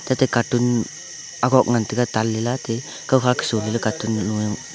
teta caton agok ngan taiga table la te kao hak so caton galo.